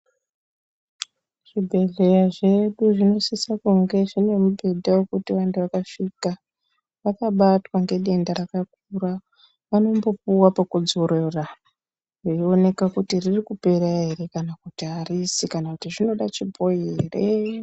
Zvibhedhleya zvedu zvinosisa kunge zvine mubhedha wekuti vantu vakasvika vakabatwa ngedenda rakakura vanombopuwa pekudzorora veioneka kuti ririkupera ere kana kuti harisi kana kuti zvinoda chibhoyi here.